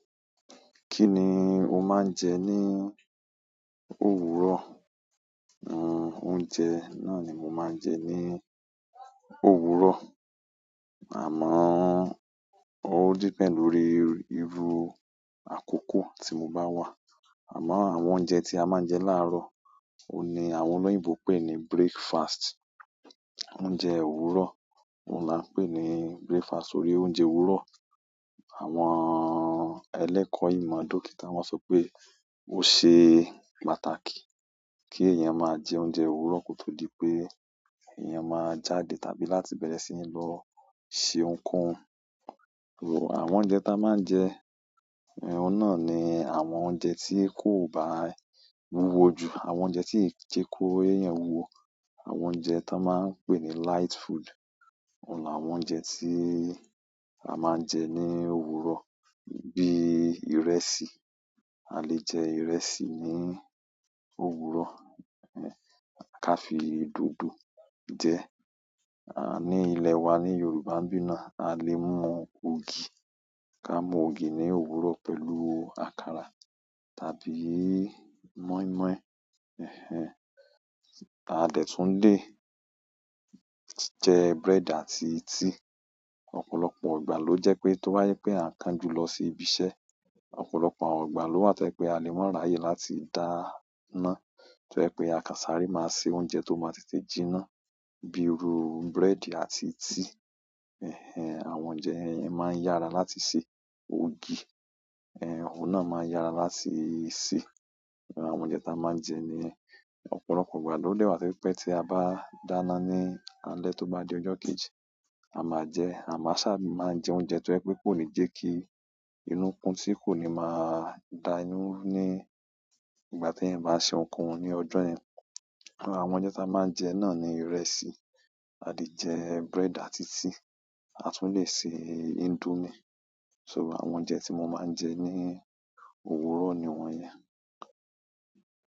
Kí ni o máa ń jẹ ní òwúrọ̀? Nn, oúnjẹ náà ni mo máa ń jẹ ní òwúrọ̀. Àmọ́, ó depend lórí, irú àkókò tí mo bá wà. Àmọ́ àwọn oúnjẹ tí a máa ń jẹ láàárọ̀, òní àwọn olóyìnbo pè ní breakfast. Oúnjẹ òwúrọ̀, òun là ń pè ní breakfast, torí oúnjẹ òwúrọ̀. Àwọn ẹlẹ́kọ́ ìmọ̀ dókítà wọ́n sọ pé ó ṣe pàtàkì kí èèyàn máa jẹ oúnjẹ òwúrọ̀ kótó di pé èèyàn máa jáde tàbí láti bẹ̀rẹ̀ sí ní lọ ṣe ohunkóhun. Àwọn oúnjẹ tí a máa ń jẹ, eh oún náà ni àwọn oúnjẹ tí kò bá wúwo jù, àwọn oúnjẹ tí i jẹ kò eeyan wuwo, àwọn oúnjẹ tí a máa ń pè ní light food. Òun là àwọn oúnjẹ tí a máa ń jẹ ní òwúrọ̀, bíi ìrẹsì. A lè jẹ ìrẹsì ní òwúrọ̀, eh ká fi dòdò jẹ. A ní ilẹ wa ní Yorùbá ńbí náà, a lè mú ògì. Ka mu ògì ni òwúrọ̀ pẹ̀lú àkàrà tàbí moimoi. Ẹ̀hẹn. A dẹ tún le jẹ bread àti tea. Ọ̀pọ̀lọpọ̀ ìgbà ló jẹ́ pé tó bá jẹ pé eeyan n kanjú lọ sí ibi iṣẹ́, ọ̀pọ̀lọpọ̀ àwọn ìgbà ló wà tó jẹ pé a lè máa ráyè láti dáná. Tó ṣe pé a kàn sáré máa se oúnjẹ tó máa tètè jiná, bíi iru búrẹ́dì àti tea. Ẹ̀hẹn. Àwọn oúnjẹ yẹn máa ń yára láti sè. Ògì, eh oún náà máa ń yára láti sè. Àwọn oúnjẹ tí a máa ń jẹ ní ọ̀pọ̀lọpọ̀ ìgbà ló dẹ wá tó jẹ pé tí a bá dáná ní alẹ́ tó bá di ọjọ́ kejì, a máa jẹ́, a má sá máa jẹ oúnjẹ tó jẹ pé kò ní jẹ́ kí inú kun tí kò ní máa dà inú ru ní ìgbà tí eeyan bá se ohunkóhun ní ọjọ́ yẹn. Àwọn oúnjẹ tí a máa ń jẹ náà ni ìrẹsì, a lè jẹ bread àti tea, a tún lè sè indomie. So àwọn oúnjẹ tí mo máa ń jẹ ní òwúrọ̀ ni wọ́n yẹn.